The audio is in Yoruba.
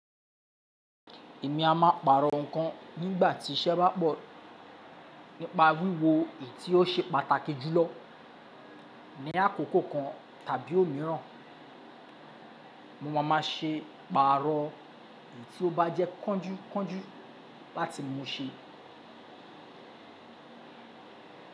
Èmi a máa pàrọ̀ nǹkan nígbà tí iṣẹ́ bá pọ̀, nípa wíwo èyí tí ó ṣe pàtàkì jùlọ ní àkókò kan tàbí òmíràn. Mo máa ma ṣe pàrọ̀ èyí tí ó bá jẹ́ kọ́ńjúkọ́ńjú láti mú u ṣe.